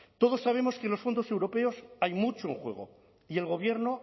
todos sabemos que en los fondos europeos hay mucho en juego y el gobierno